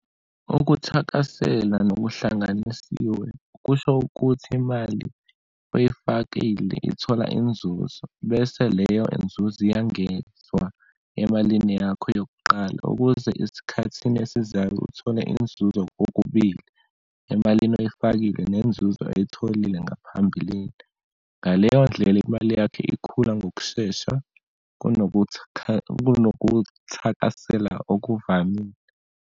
Ukuthakasela nokuhlanganisiwe kusho ukuthi imali oyifakile ithola inzuzo, bese leyo inzuzo iyangezwa emalini yakho yokuqala ukuze esikhathini esizayo uthole inzuzo kokubili, emalini oyifakile nenzuzo oyitholile ngaphambilini. Ngaleyondlela, imali yakho ikhula ngokushesha kunokuthakasela okuvamile.